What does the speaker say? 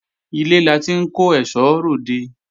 Ilé la ti ń kó èsó re òde